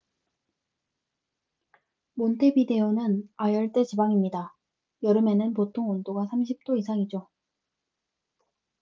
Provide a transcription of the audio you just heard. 몬테비데오는 아열대 지방입니다. 여름에는 보통 온도가 30°c 이상이죠